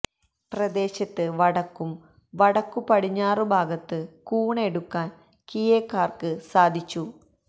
പ്രദേശത്ത് വടക്കും വടക്കു പടിഞ്ഞാറു ഭാഗത്ത് കൂൺ എടുക്കാൻ കിയെക്കാർക്ക് സാധിച്ചു